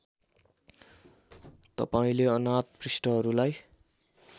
तपाईँले अनाथ पृष्ठहरूलाई